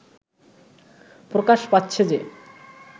প্রকাশ পাচ্ছে যে